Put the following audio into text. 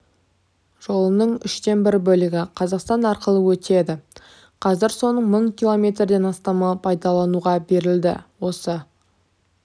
жолының үштен бір бөлігі қазақстан арқылы өтеді қазір соның мың километрден астамы пайдалануға берілді осы